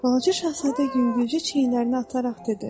Balaca Şahzadə yüngülcə çiyinlərini ataraq dedi: